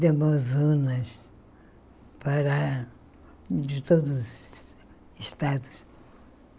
De Amazonas Pará... De todos os estados.